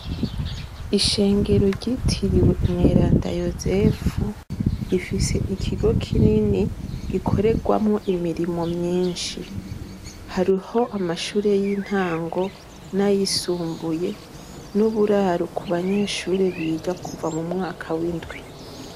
Ishengero ryitiriwe umweranda yosefu ifise ikigo kinini gikorerwamo imirimo myinshi hariho amashure y'intango nayisumbuye n'uburaru ku banyeshure biga kuva mu mwaka w'indwi.